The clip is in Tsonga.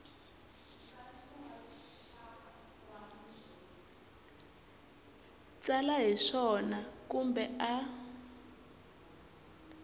tsala hi swona kumbe a